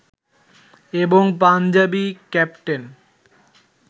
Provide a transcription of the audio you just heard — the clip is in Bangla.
এবং পাঞ্জাবি ক্যাপ্টেন